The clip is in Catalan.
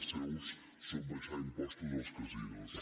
els seus són abaixar impostos als casinos